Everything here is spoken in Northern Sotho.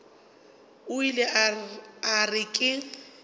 o ile a re ke